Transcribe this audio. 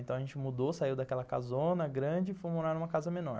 Então a gente mudou, saiu daquela casona grande e foi morar numa casa menor.